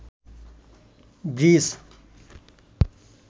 bridge